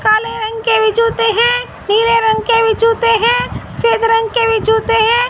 काले रंग के भी जूते है निले रंग के भी जूते हैं सफेद रंग के भी जूते हैं।